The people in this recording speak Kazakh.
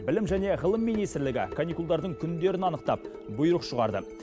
білім және ғылым министрлігі каникулдардың күндерін анықтап бұйрық шығарды